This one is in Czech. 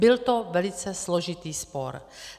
Byl to velice složitý spor.